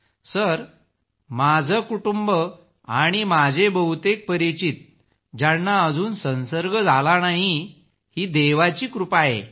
सरमाझे कुटुंब आणि माझे बहुतेक परिचित ज्यांना अजून संसर्ग झाला नाही ही देवाची कृपा आहे